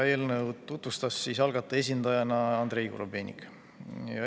Eelnõu tutvustas algataja esindajana Andrei Korobeinik.